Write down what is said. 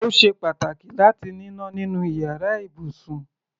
Ó ṣe pàtàkì láti níná nínú iyàrá ibùsùn.